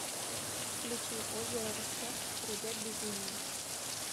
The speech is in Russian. включи озеро восток хребет безумия